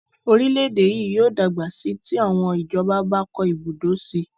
Orílẹ̀-èdè yìí yóò dàgbà síi tí àwọn ìjọba bá kọ́ ibùdó síi